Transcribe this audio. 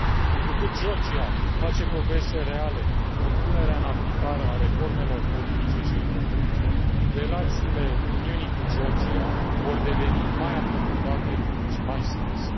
Întrucât Georgia face progrese reale în punerea în aplicare a reformelor politice și economice, relațiile Uniunii cu Georgia vor deveni mai aprofundate și mai strânse.